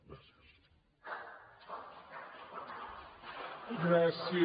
gràcies